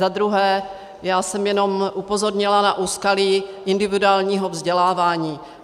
Za druhé, já jsem jenom upozornila na úskalí individuálního vzdělávání.